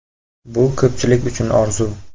Bu ko‘pchilik uchun orzu!